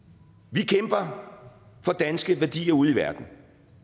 vi kæmper for danske værdier ude i verden